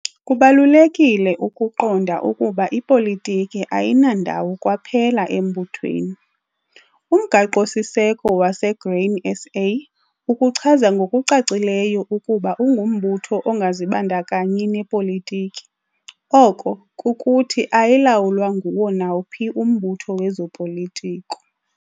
Kubalulekile ukuqonda ukuba ipolitiki ayinandawo kwaphela embuthweni. Umgaqo-siseko waseGrain SA ukuchaza ngokucacileyo ukuba ungumbutho ongazibandakanyi nepolitiki, oko, kukuthi ayilawulwa nguwo nawuphi umbutho wezopolitiko.